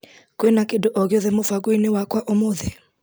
Kwĩna kĩndũ ogĩothe mũbango-inĩ wakwa ũmũthĩ.